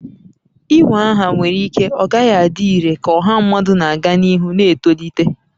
Inwe aha nwere ike ọ gaghị adị irè ka ọha mmadụ na-aga n'ihu na-etolite